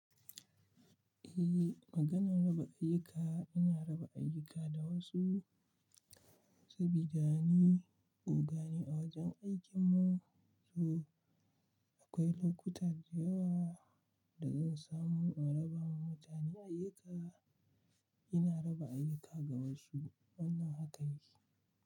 Eh, maganan raba ayyuka ina raba ayyuka da wasu sabida ni ogane a wajen aikin mu, to akwai lokutan da yawa da zan samu in raba ma mutane ayyuka, ina raba ayyuka ga wasu wannan haka yake.